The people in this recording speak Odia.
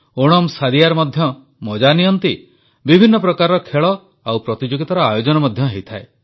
ଓଣମ୍ସଦିୟାର ମଧ୍ୟ ମଜା ନିଅନ୍ତି ବିଭିନ୍ନ ପ୍ରକାରର ଖେଳ ଓ ପ୍ରତିଯୋଗିତାର ଆୟୋଜନ ମଧ୍ୟ ହୋଇଥାଏ